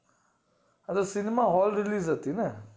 અરે cinema hall જેટલી જ હતી ને